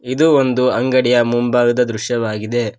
ಇದು ಒಂದು ಅಂಗಡಿಯ ಮುಂಭಾಗದ ದೃಶ್ಯವಾಗಿದೆ.